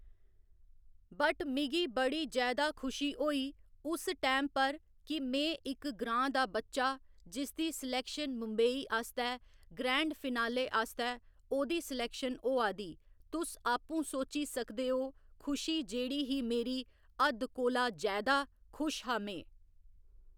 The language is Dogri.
बट मिगी बड़ी जैदा खुशी होई उस टाइम पर कि में इक ग्राँ दा बच्चा जिस दी सिलेक्शन मुम्बई आस्तै, ग्रैंड फिनाले आस्तै ओह्दी सिलेक्शन होआ दी, तुस आपूं सोची सकदे ओ, खुशी जेह्ड़ी ही मेरी हद्द कोला जैदा खुश हा में।